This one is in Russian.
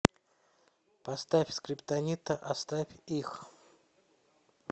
поставь скриптонита оставь их